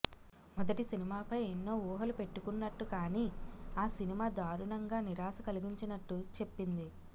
మొదటి సినిమాపై ఎన్నో ఊహలు పెట్టుకున్నట్టు కానీ ఆ సినిమా దారుణంగా నిరాశ కలిగించినట్టు చెప్పింది